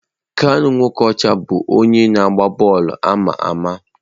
Kanu Nwankwo bụ onye ọgba bọọlụ ama ama.